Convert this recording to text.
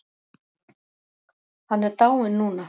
Hann er dáinn núna.